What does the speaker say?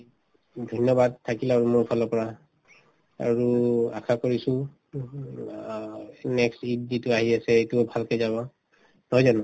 ধন্যবাদ থাকিল আৰু মোৰ ফালৰ পৰা আৰু আশা কৰিছো next ঈদ যিটো আহি আছে এইটোও ভালকে যাব নহয় জানো